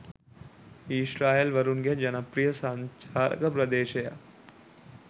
ඊශ්‍රායෙල් වරුන්ගේ ජනප්‍රිය සංචාරක ප්‍රදේශයක්